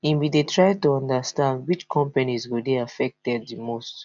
e bin try to understand which companies go dey affected di most